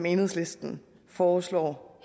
enhedslisten foreslår